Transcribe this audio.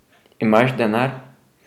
Imaš denar?